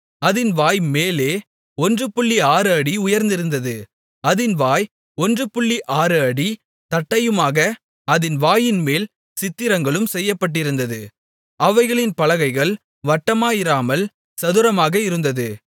அதின் வாய் மேலே 16 அடி உயர்ந்திருந்தது அதின் வாய் 16 அடி தட்டையுமாக அதின் வாயின்மேல் சித்திரங்களும் செய்யப்பட்டிருந்தது அவைகளின் பலகைகள் வட்டமாயிராமல் சதுரமாக இருந்தது